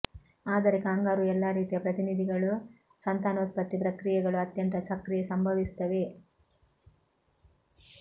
ಆದರೆ ಕಾಂಗರೂ ಎಲ್ಲಾ ರೀತಿಯ ಪ್ರತಿನಿಧಿಗಳು ಸಂತಾನೋತ್ಪತ್ತಿ ಪ್ರಕ್ರಿಯೆಗಳು ಅತ್ಯಂತ ಸಕ್ರಿಯ ಸಂಭವಿಸುತ್ತವೆ